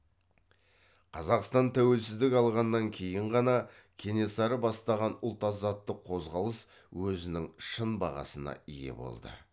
қазақстан тәуелсіздік алғаннан кейін ғана кенесары бастаған ұлт азаттық қозғалыс өзінің шын бағасына ие болды